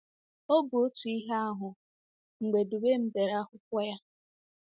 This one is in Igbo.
Ọ bụ otu ihe ahụ mgbe Dubem dere akwụkwọ ya.